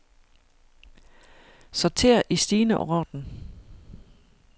Sorter i stigende orden.